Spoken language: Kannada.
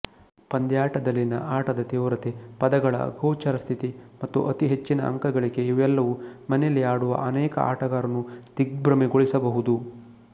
ಪಂದ್ಯಾಟದಲ್ಲಿನ ಆಟದ ತೀವ್ರತೆ ಪದಗಳ ಅಗೋಚರಸ್ಥಿತಿ ಮತ್ತು ಅತೀಹೆಚ್ಚಿನ ಅಂಕ ಗಳಿಕೆ ಇವೆಲ್ಲವು ಮನೆಯಲ್ಲಿ ಆಡುವ ಅನೇಕ ಆಟಗಾರರನ್ನು ದಿಗ್ಭ್ರಮೆಗೊಳಿಸಬಹುದು